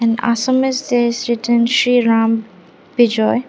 and Assamese day student Shri Ram Vijay.